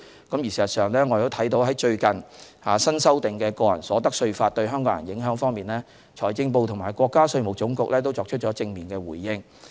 事實上，就最近新修訂《中華人民共和國個人所得稅法》對港人的影響，財政部和國家稅務總局已作出正面回應。